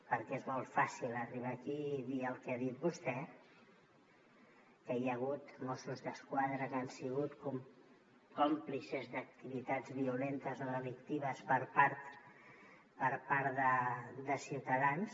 perquè és molt fàcil arribar aquí i dir el que ha dit vostè que hi ha hagut mossos d’esquadra que han sigut còmplices d’activitats violentes o delictives per part de ciutadans